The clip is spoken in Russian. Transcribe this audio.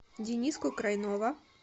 дениску крайнова